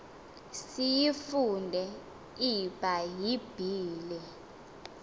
siyifunde ibha yibhile